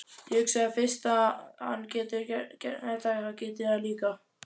Ég hugsaði, fyrst hann getur þetta get ég það líka.